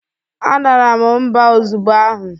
Adara m mba ozugbo ahụ.